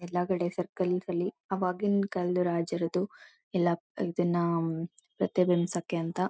ಎಲ್ಲ ಕಡೆ ಸರ್ಕಸ್ ಅಲ್ಲಿ ಅವಾಗಿನ ಕಾಲದ ರಾಜರದು ಎಲ್ಲ ಇದನ್ನ ರಥೆ ಇಡ್ಸ್ಕೇ ಅಂತ--